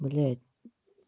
блядь